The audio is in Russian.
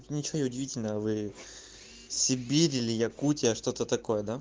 ничего удивительного сибирь или что-то так